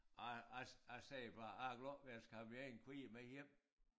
Jeg jeg jeg sagde bare jeg er glad jeg skal have mine kvier med hjem